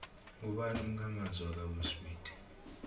ngubani umkha manzi ka will smith